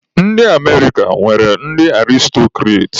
Ndị Amerika nwere ndị Aristọkrats.